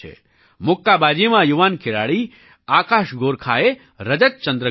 મુક્કાબાજીમાં યુવાન ખેલાડી આકાશ ગોરખાએ રજત ચંદ્રક જીત્યો